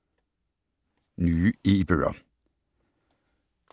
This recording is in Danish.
Nye e-bøger